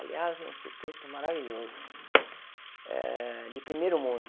Aliás, um instituto maravilhoso, eh de primeiro mundo.